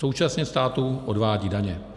Současně státu odvádí daně.